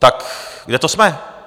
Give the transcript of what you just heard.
Tak kde to jsme?